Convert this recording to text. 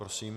Prosím.